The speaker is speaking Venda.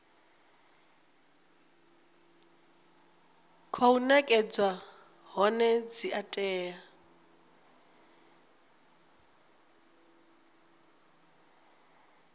khou nekedzwa hone dzi tea